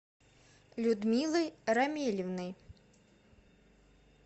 людмилой рамилевной